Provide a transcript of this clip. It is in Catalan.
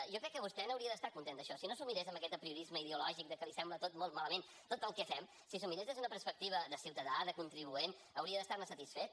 jo crec que vostè n’hauria d’estar content d’això si no s’ho mirés amb aquest apriorisme ideològic de que li sembla tot molt malament tot el que fem si s’ho mirés des d’una perspectiva de ciutadà de contribuent haurien d’estar ne satisfet